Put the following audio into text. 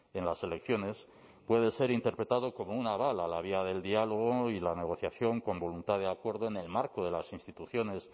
en las elecciones puede ser interpretado como un aval a la vía del diálogo y la negociación con voluntad de acuerdo en el marco de las instituciones